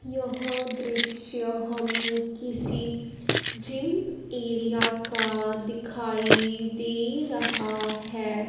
यह दृश्य हमें किसी जिम एरिया का दिखाई दे रहा है।